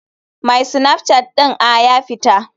My snapchat ɗin a ya fita.